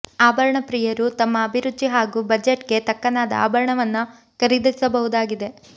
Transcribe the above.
ಆಭರಣ ಪ್ರಿಯರು ತಮ್ಮ ಅಭಿರುಚಿ ಹಾಗೂ ಬಜೆಟ್ ಗೆ ತಕ್ಕನಾದ ಆಭರಣವನ್ನ ಖರೀದಿಸಬಹುದಾಗಿದೆ